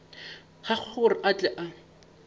gagwe gore a tle a